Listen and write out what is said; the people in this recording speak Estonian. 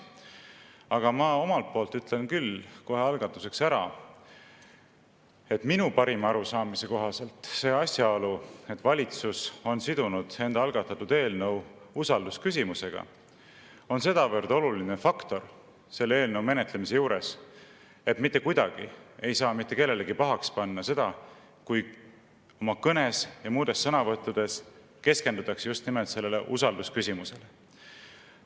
Aga ma omalt poolt ütlen küll kohe algatuseks ära, et minu parima arusaamise kohaselt see asjaolu, et valitsus on sidunud enda algatatud eelnõu usaldusküsimusega, on sedavõrd oluline faktor selle eelnõu menetlemise juures, et mitte kuidagi ei saa mitte kellelegi pahaks panna seda, kui oma kõnes ja muudes sõnavõttudes keskendutakse just nimelt sellele usaldusküsimusele.